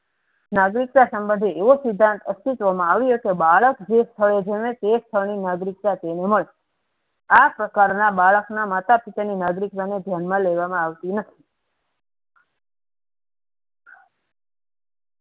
નાગરિક સંબધે એવો સિદ્ધાંત અસ્તીત્વ મા આયો હતો બાળક જે સ્થળે જન્મે તે સ્થથળ ની નાગરિકતા તેને મળે આ પ્રકારના બાળક ના માતા પિતા ની નાગરિકતા ધ્યાનમા લેવામાં આવતી નથી.